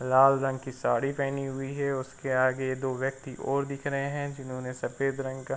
लाल रंग साड़ी पहनी हुई है औ उसके आगे दो व्यक्ति और दिख रहे हैं जिन्होंने सफेद रंग का --